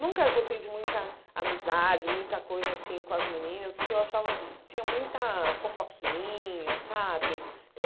Nunca gostei de muita amizade, muita coisa assim com as meninas, porque eu achava que tinha muita fofoquinha, sabe? Eh